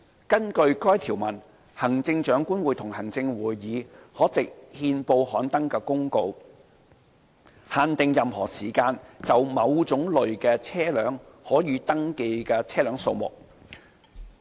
根據該條文，行政長官會同行政會議可藉憲報刊登的公告，限定任何時間就某種類車輛可予登記的車輛數目。